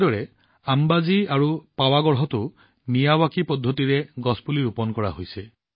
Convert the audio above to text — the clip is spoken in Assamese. একেদৰে মিয়াৱাকি পদ্ধতিৰে অম্বাজী আৰু পাৱগড়ত পুলি ৰোপণ কৰা হৈছে